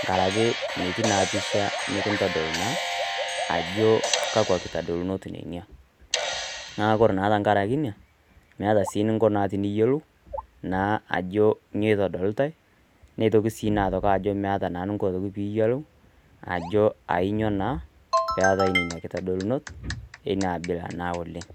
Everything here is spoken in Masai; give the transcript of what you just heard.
enkaraki metii naa pisha nekintodol naa ajo kakwa kitadolunot nenia, naa ore naa tenkaraki ina meata sii eneiko pee iyiolou, naa ajo nyoo eitodolitai, neitoki sii aitodolu ajo meata eninko pee iyiolou, ajo ainyo naa peatai nena kitadolunot naa ena aabila na oleng'.